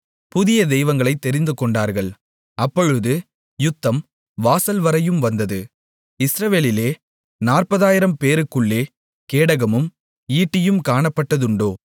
புதிய தெய்வங்களைத் தெரிந்துகொண்டார்கள் அப்பொழுது யுத்தம் வாசல்வரையும் வந்தது இஸ்ரவேலிலே 40000 பேருக்குள்ளே கேடகமும் ஈட்டியும் காணப்பட்டதுண்டோ